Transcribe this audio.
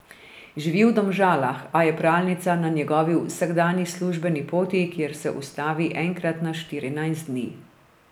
Živi v Domžalah, a je pralnica na njegovi vsakdanji službeni poti, kjer se ustavi enkrat na štirinajst dni.